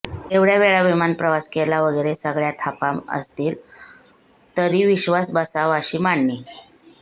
एवढय़ा वेळा विमानप्रवास केला वगैरे सगळ्या थापा असतील तरी विश्वास बसावा अशी मांडणी